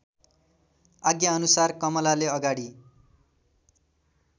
आज्ञाअनुसार कमलाले अगाडि